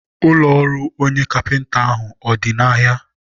ụlọ ọrụ onye kapịnta ahụ ọ dị n'ahịa?